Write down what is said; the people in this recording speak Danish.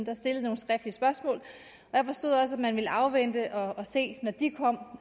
er stillet nogle skriftlige spørgsmål og jeg forstod også at man ville afvente og se når de kom